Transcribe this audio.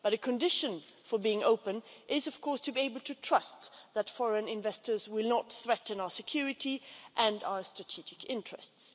But a condition for being open is to be able to trust that foreign investors will not threaten our security and our strategic interests.